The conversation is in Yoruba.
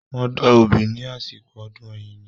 Wọ́n da obì ní àsìkò ọdún Ẹ̀yíní.